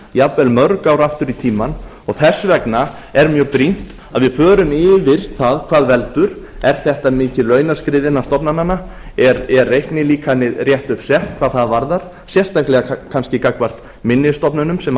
jafnvel mörg ár aftur í tímann þess vegna er mjög brýnt að við förum yfir það hvað veldur er þetta mikið launaskrið innan stofnananna er reiknilíkanið rétt upp sett hvað það varðar sérstaklega kannski gagnvart minni stofnunum sem